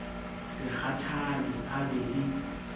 se kgathale a be le